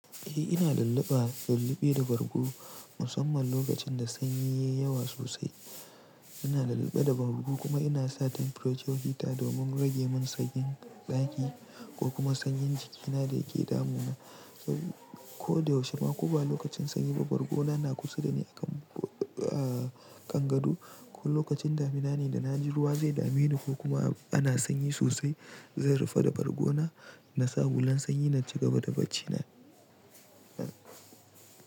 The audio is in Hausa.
Eh ina lulluɓa, lulluɓe da bargo musamman lokacin da sanyi yayi yawa sosai. Ina lulluɓe da bargo kuma ina sa temperature heater domin rage min sanyin ɗaki ko kuma sanyin jikina da yake damuna. Ko da yaushe ma ko ba lokacin sanyi ba, bargona na kusa da ni a kan, ah kan gado. Ko lokacin damina ne da na ji ruwa zai dameni ko kuma ana sanyi sosai, zan rufe da bargona na sa hulan sanyi na ci gaba da baccina.